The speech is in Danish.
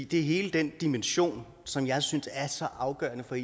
det er hele den dimension som jeg synes er så afgørende for